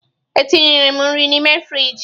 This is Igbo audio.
Etinyere m nri n'ime frịjị.